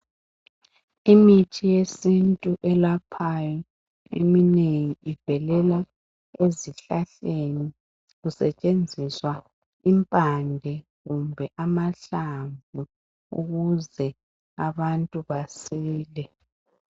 Imithi yesintu eminengi eyelaphayo ivelela ezihlahleni. Kusetshenziswa impande kumbe amahlamvu ukuze abantu basile.